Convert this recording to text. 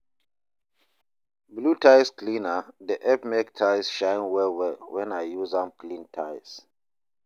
blew tiles cleaner dey help mek tiles shine well well when I use am clean tiles